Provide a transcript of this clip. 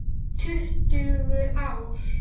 Tuttugu ár!